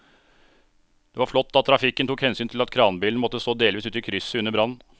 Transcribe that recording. Det var flott at trafikken tok hensyn til at kranbilen måtte stå delvis ute i krysset under brannen.